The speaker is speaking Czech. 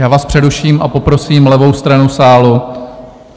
Já vás přeruším a poprosím levou stranu sálu.